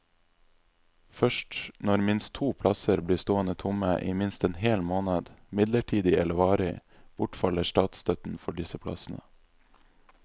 Først når minst to plasser blir stående tomme i minst en hel måned, midlertidig eller varig, bortfaller statsstøtten for disse plassene.